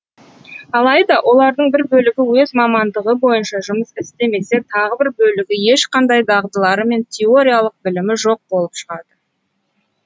алайда олардың бір бөлігі өз мамандығы бойынша жұмыс істемесе тағы бір бөлігі ешқандай дағдылары мен теориялық білімі жоқ болып шығады